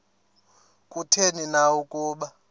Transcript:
kutheni na ukuba